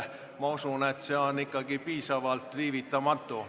Ma usun, et see on piisavalt viivitamatu.